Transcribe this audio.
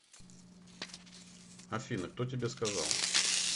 афина кто тебе сказал